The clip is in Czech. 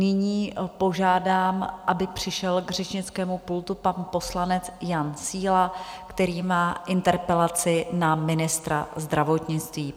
Nyní požádám, aby přišel k řečnickému pultu pan poslanec Jan Síla, který má interpelaci na ministra zdravotnictví.